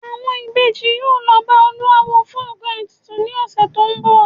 Àwọn Ìbejì yóò lọ bá olúawo fún nkan ètùtù ni ọ̀sẹ̀ tó ń bọ̀